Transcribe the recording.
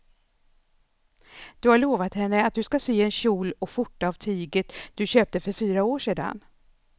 Du har lovat henne att du ska sy en kjol och skjorta av tyget du köpte för fyra år sedan.